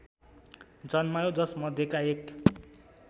जन्मायो जसमध्येका एक